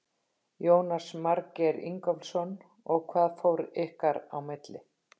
Jónas Margeir Ingólfsson: Og hvað fór ykkar á milli?